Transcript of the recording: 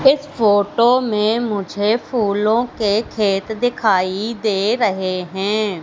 इस फोटो में मुझे फूलों के खेत दिखाई दे रहे हैं।